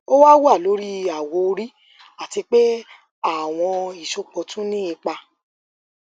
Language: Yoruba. o wa wa lori awọ ori ati pe awọn isopọ tun ni ipa